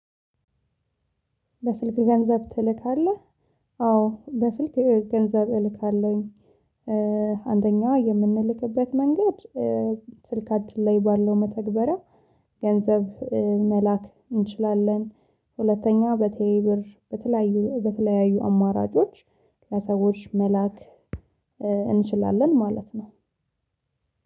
በስልክ ገንዘብ ትልካለህ? አዎ በስልክ ገንዘብ እልካለሁኝ። አንደኛው የምንልክበት መንገድ። ስልካችን ላይ ባለው መተግበሪያ ገንዘብ መላክ እንችላለን። ሁለተኛ በቴሌ ብር። በተለያዩ አማራጮች ለሰዎች መላክ። እንችላለን ማለት ነው።